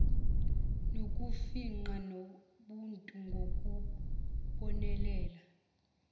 sokufingqa nobuntu ngokubonelela